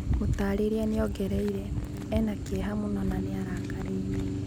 Mũtariria niongereire: " Ena kieha mũno na niarakarite."